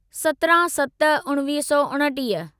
सत्रहं सत उणिवीह सौ उणटीह